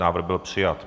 Návrh byl přijat.